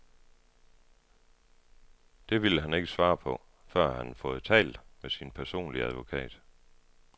Det ville han ikke svare på, før han havde fået talt med sin personlige advokat.